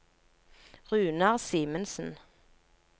Runar Simensen